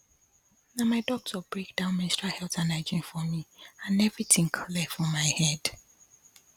na my doctor break down menstrual health and hygiene for me and everything clear for my head